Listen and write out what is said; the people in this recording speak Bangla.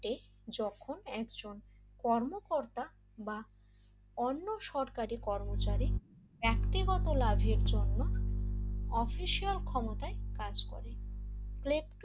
ঘটে যখন একজন কর্মকর্তা বা অন্য সরকারি কর্মচারী ব্যক্তিগত লাভের জন্য অফিসিয়াল ক্ষমতায় কাজ করে প্লেকটো